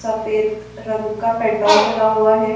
सफ़ेद रंग का पेट्रोल डला हुआ है।